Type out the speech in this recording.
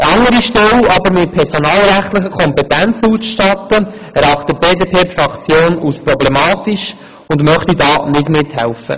Die BDP-Fraktion erachtet es aber als problematisch, eine andere Stelle mit personalrechtlichen Kompetenzen auszustatten und möchte dabei nicht mithelfen.